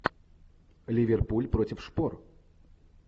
ливерпуль против шпор